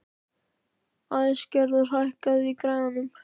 Æsgerður, hækkaðu í græjunum.